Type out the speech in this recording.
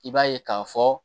I b'a ye k'a fɔ